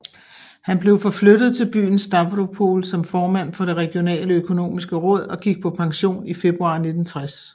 Han blev forflyttet til byen Stavropol som formand for det regionale økonomiske råd og gik på pension i februar 1960